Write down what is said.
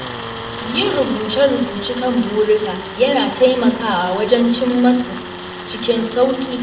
Yin rubuce-rubuce kan burika yana taimakawa wajen cimma su cikin sauƙi.